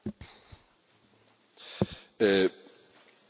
Por supuesto, querida colega, es decir, todo ayuda.